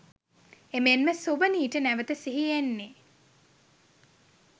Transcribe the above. එමෙන්ම සොබනීට නැවත සිහි එන්නේ